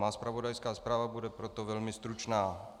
Má zpravodajská zpráva bude proto velmi stručná.